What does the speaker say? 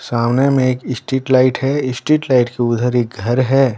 सामने में एक स्ट्रीट लाइट है स्ट्रीट लाइट के उधर एक घर है।